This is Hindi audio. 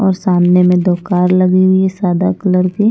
और सामने में दो कार लगी हुई है सादा कलर की।